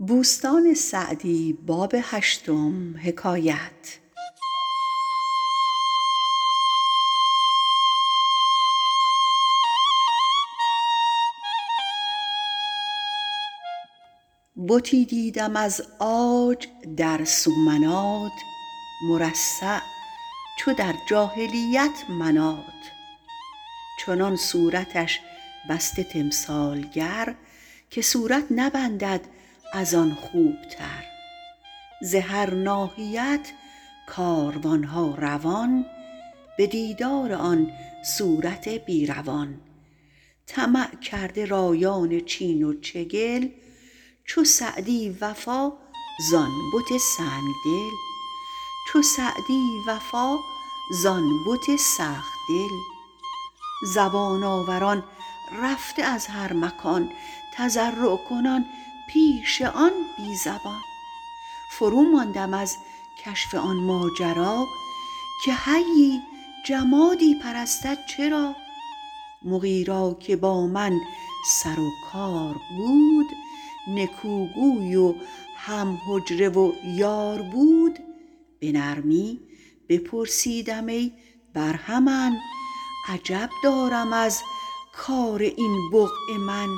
بتی دیدم از عاج در سومنات مرصع چو در جاهلیت منات چنان صورتش بسته تمثالگر که صورت نبندد از آن خوبتر ز هر ناحیت کاروانها روان به دیدار آن صورت بی روان طمع کرده رایان چین و چگل چو سعدی وفا ز آن بت سخت دل زبان آوران رفته از هر مکان تضرع کنان پیش آن بی زبان فرو ماندم از کشف آن ماجرا که حیی جمادی پرستد چرا مغی را که با من سر و کار بود نکوگوی و هم حجره و یار بود به نرمی بپرسیدم ای برهمن عجب دارم از کار این بقعه من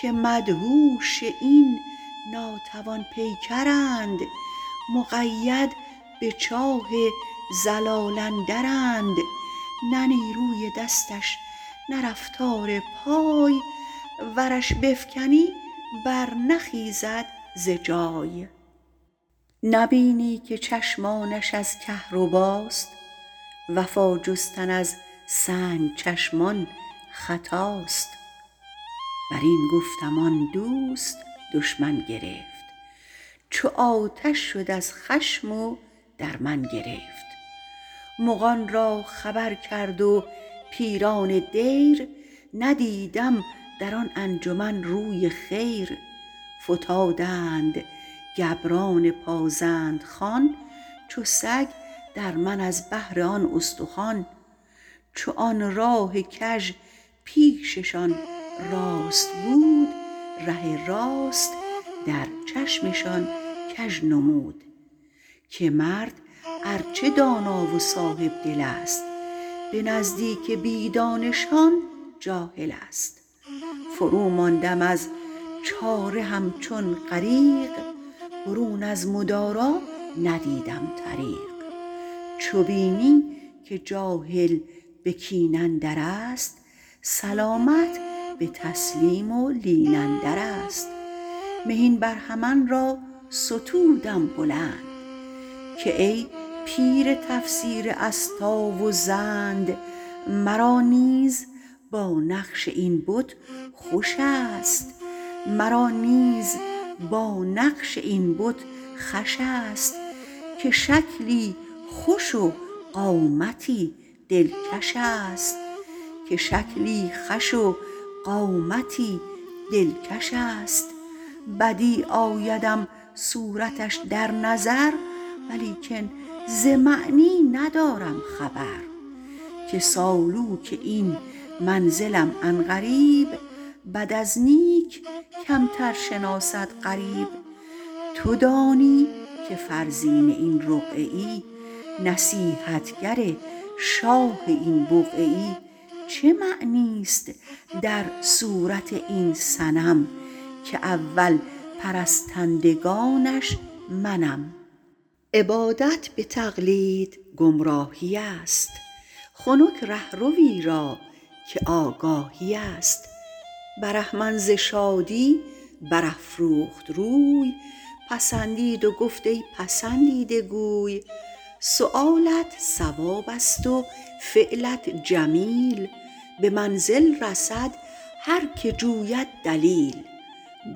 که مدهوش این ناتوان پیکرند مقید به چاه ضلال اندرند نه نیروی دستش نه رفتار پای ورش بفکنی بر نخیزد ز جای نبینی که چشمانش از کهرباست وفا جستن از سنگ چشمان خطاست بر این گفتم آن دوست دشمن گرفت چو آتش شد از خشم و در من گرفت مغان را خبر کرد و پیران دیر ندیدم در آن انجمن روی خیر فتادند گبران پازند خوان چو سگ در من از بهر آن استخوان چو آن راه کژ پیششان راست بود ره راست در چشمشان کژ نمود که مرد ار چه دانا و صاحبدل است به نزدیک بی دانشان جاهل است فرو ماندم از چاره همچون غریق برون از مدارا ندیدم طریق چو بینی که جاهل به کین اندر است سلامت به تسلیم و لین اندر است مهین برهمن را ستودم بلند که ای پیر تفسیر استا و زند مرا نیز با نقش این بت خوش است که شکلی خوش و قامتی دلکش است بدیع آیدم صورتش در نظر ولیکن ز معنی ندارم خبر که سالوک این منزلم عن قریب بد از نیک کمتر شناسد غریب تو دانی که فرزین این رقعه ای نصیحتگر شاه این بقعه ای چه معنی است در صورت این صنم که اول پرستندگانش منم عبادت به تقلید گمراهی است خنک رهروی را که آگاهی است برهمن ز شادی بر افروخت روی پسندید و گفت ای پسندیده گوی سؤالت صواب است و فعلت جمیل به منزل رسد هر که جوید دلیل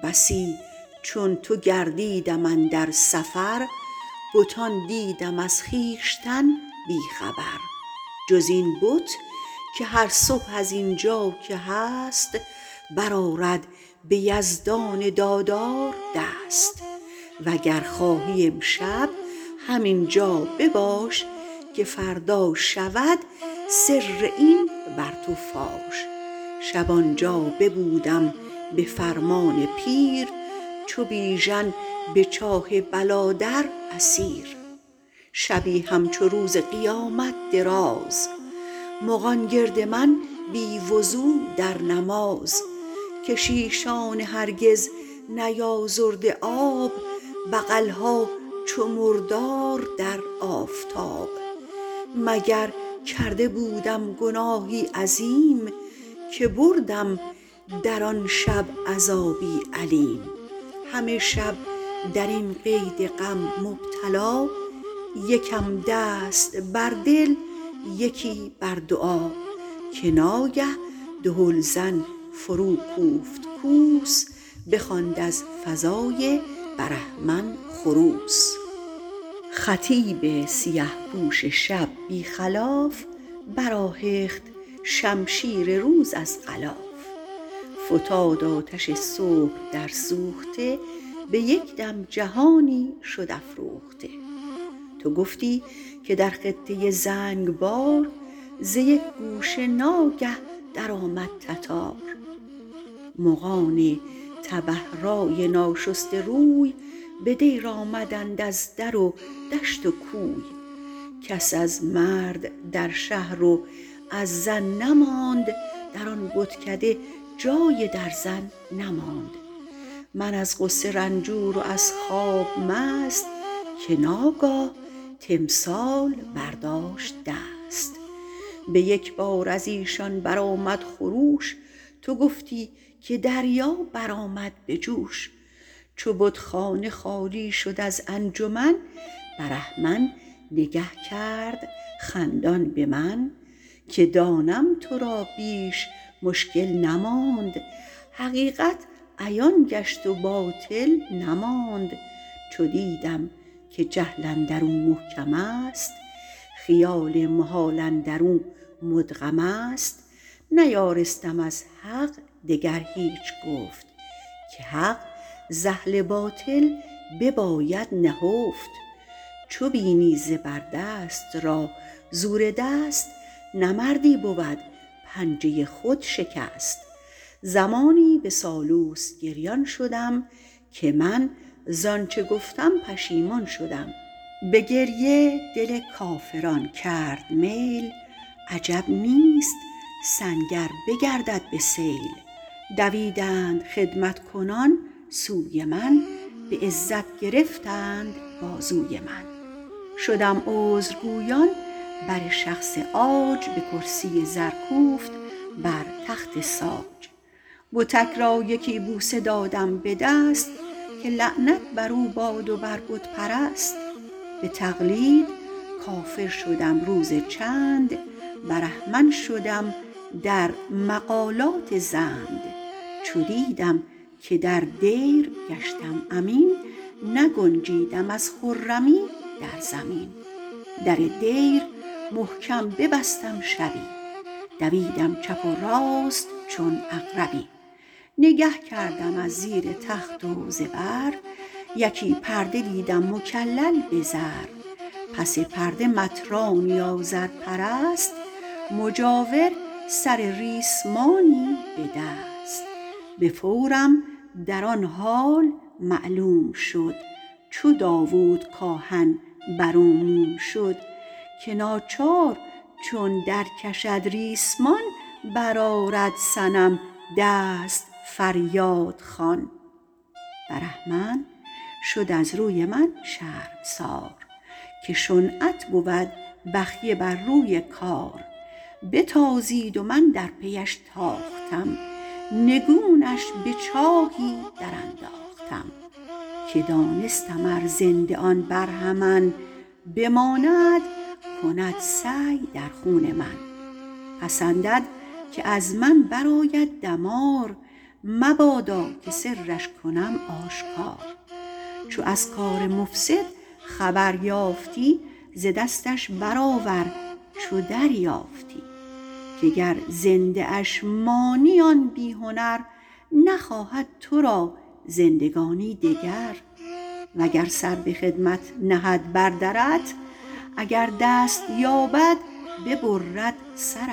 بسی چون تو گردیدم اندر سفر بتان دیدم از خویشتن بی خبر جز این بت که هر صبح از اینجا که هست برآرد به یزدان دادار دست وگر خواهی امشب همینجا بباش که فردا شود سر این بر تو فاش شب آنجا ببودم به فرمان پیر چو بیژن به چاه بلا در اسیر شبی همچو روز قیامت دراز مغان گرد من بی وضو در نماز کشیشان هرگز نیازرده آب بغلها چو مردار در آفتاب مگر کرده بودم گناهی عظیم که بردم در آن شب عذابی الیم همه شب در این قید غم مبتلا یکم دست بر دل یکی بر دعا که ناگه دهل زن فرو کوفت کوس بخواند از فضای برهمن خروس خطیب سیه پوش شب بی خلاف بر آهخت شمشیر روز از غلاف فتاد آتش صبح در سوخته به یک دم جهانی شد افروخته تو گفتی که در خطه زنگبار ز یک گوشه ناگه در آمد تتار مغان تبه رای ناشسته روی به دیر آمدند از در و دشت و کوی کس از مرد در شهر و از زن نماند در آن بتکده جای درزن نماند من از غصه رنجور و از خواب مست که ناگاه تمثال برداشت دست به یک بار از ایشان برآمد خروش تو گفتی که دریا بر آمد به جوش چو بتخانه خالی شد از انجمن برهمن نگه کرد خندان به من که دانم تو را بیش مشکل نماند حقیقت عیان گشت و باطل نماند چو دیدم که جهل اندر او محکم است خیال محال اندر او مدغم است نیارستم از حق دگر هیچ گفت که حق ز اهل باطل بباید نهفت چو بینی زبر دست را زور دست نه مردی بود پنجه خود شکست زمانی به سالوس گریان شدم که من زآنچه گفتم پشیمان شدم به گریه دل کافران کرد میل عجب نیست سنگ ار بگردد به سیل دویدند خدمت کنان سوی من به عزت گرفتند بازوی من شدم عذرگویان بر شخص عاج به کرسی زر کوفت بر تخت ساج بتک را یکی بوسه دادم به دست که لعنت بر او باد و بر بت پرست به تقلید کافر شدم روز چند برهمن شدم در مقالات زند چو دیدم که در دیر گشتم امین نگنجیدم از خرمی در زمین در دیر محکم ببستم شبی دویدم چپ و راست چون عقربی نگه کردم از زیر تخت و زبر یکی پرده دیدم مکلل به زر پس پرده مطرانی آذرپرست مجاور سر ریسمانی به دست به فورم در آن حال معلوم شد چو داود کآهن بر او موم شد که ناچار چون در کشد ریسمان بر آرد صنم دست فریادخوان برهمن شد از روی من شرمسار که شنعت بود بخیه بر روی کار بتازید و من در پیش تاختم نگونش به چاهی در انداختم که دانستم ار زنده آن برهمن بماند کند سعی در خون من پسندد که از من بر آید دمار مبادا که سرش کنم آشکار چو از کار مفسد خبر یافتی ز دستش برآور چو دریافتی که گر زنده اش مانی آن بی هنر نخواهد تو را زندگانی دگر وگر سر به خدمت نهد بر درت اگر دست یابد ببرد سرت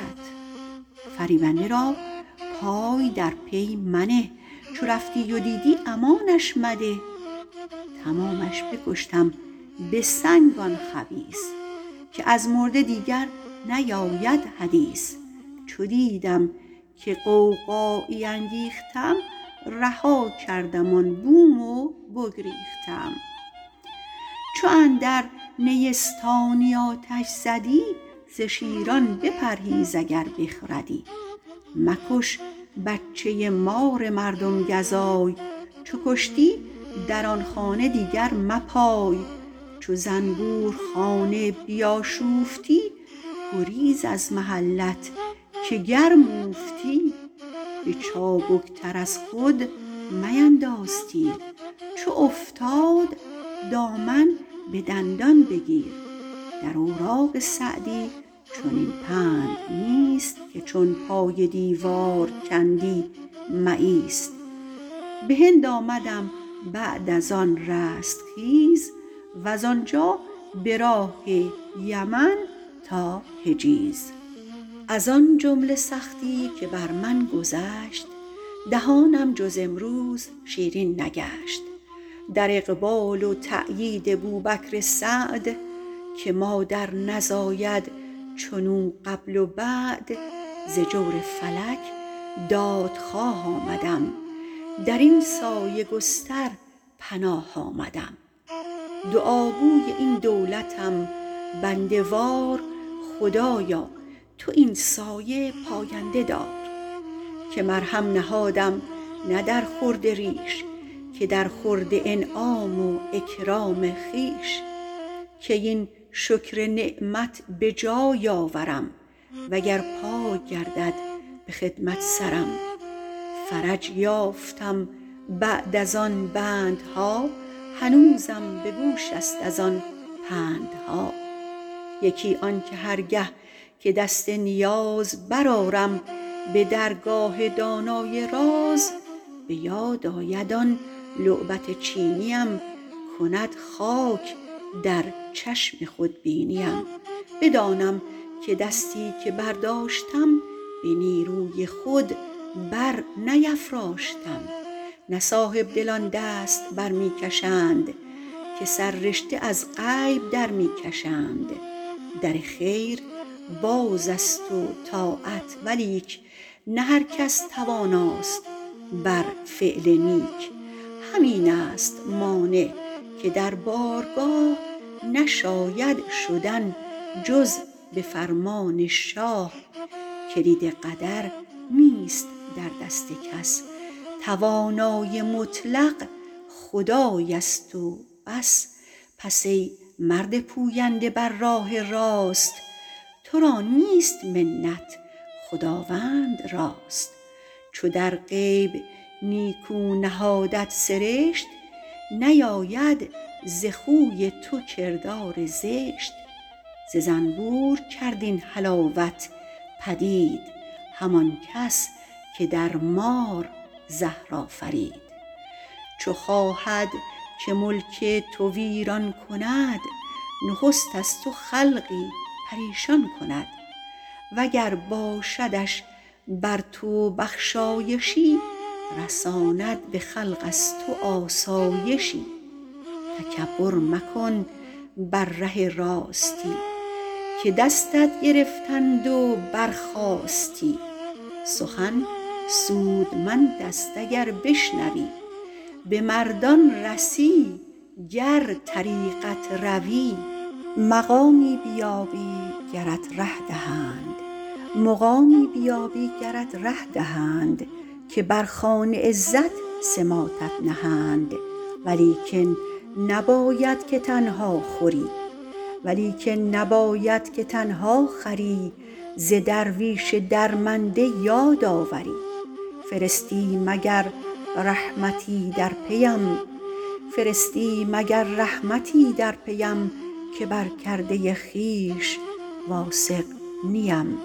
فریبنده را پای در پی منه چو رفتی و دیدی امانش مده تمامش بکشتم به سنگ آن خبیث که از مرده دیگر نیاید حدیث چو دیدم که غوغایی انگیختم رها کردم آن بوم و بگریختم چو اندر نیستانی آتش زدی ز شیران بپرهیز اگر بخردی مکش بچه مار مردم گزای چو کشتی در آن خانه دیگر مپای چو زنبور خانه بیاشوفتی گریز از محلت که گرم اوفتی به چابک تر از خود مینداز تیر چو افتاد دامن به دندان بگیر در اوراق سعدی چنین پند نیست که چون پای دیوار کندی مایست به هند آمدم بعد از آن رستخیز وز آنجا به راه یمن تا حجیز از آن جمله سختی که بر من گذشت دهانم جز امروز شیرین نگشت در اقبال و تأیید بوبکر سعد که مادر نزاید چنو قبل و بعد ز جور فلک دادخواه آمدم در این سایه گستر پناه آمدم دعاگوی این دولتم بنده وار خدایا تو این سایه پاینده دار که مرهم نهادم نه در خورد ریش که در خورد انعام و اکرام خویش کی این شکر نعمت به جای آورم و گر پای گردد به خدمت سرم فرج یافتم بعد از آن بندها هنوزم به گوش است از آن پندها یکی آن که هر گه که دست نیاز برآرم به درگاه دانای راز به یاد آید آن لعبت چینیم کند خاک در چشم خودبینیم بدانم که دستی که برداشتم به نیروی خود بر نیفراشتم نه صاحبدلان دست بر می کشند که سررشته از غیب در می کشند در خیر باز است و طاعت ولیک نه هر کس تواناست بر فعل نیک همین است مانع که در بارگاه نشاید شدن جز به فرمان شاه کلید قدر نیست در دست کس توانای مطلق خدای است و بس پس ای مرد پوینده بر راه راست تو را نیست منت خداوند راست چو در غیب نیکو نهادت سرشت نیاید ز خوی تو کردار زشت ز زنبور کرد این حلاوت پدید همان کس که در مار زهر آفرید چو خواهد که ملک تو ویران کند نخست از تو خلقی پریشان کند وگر باشدش بر تو بخشایشی رساند به خلق از تو آسایشی تکبر مکن بر ره راستی که دستت گرفتند و برخاستی سخن سودمند است اگر بشنوی به مردان رسی گر طریقت روی مقامی بیابی گرت ره دهند که بر خوان عزت سماطت نهند ولیکن نباید که تنها خوری ز درویش درمنده یاد آوری فرستی مگر رحمتی در پیم که بر کرده خویش واثق نیم